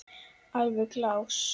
Alveg glás.